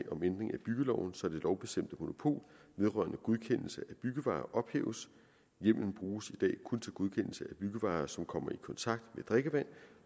byggeloven så det lovbestemte monopol vedrørende godkendelse af byggevarer ophæves hjemmelen bruges i byggevarer som kommer i kontakt med drikkevand